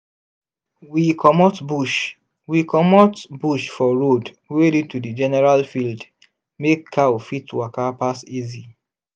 we comot bush we comot bush for road wey lead to the general field make cow fit waka pass easy.